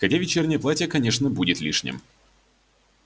хотя вечернее платье конечно будет лишним